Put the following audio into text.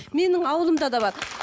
менің ауылымда да бар